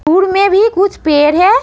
दूर में भी कुछ पेड़ हैं।